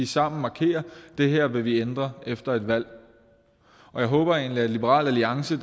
sammen markerer at det her vil vi ændre efter et valg jeg håber egentlig at liberal alliance